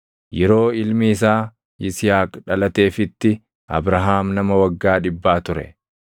Yeroo ilmi isaa Yisihaaq dhalateefitti Abrahaam nama waggaa dhibbaa ture.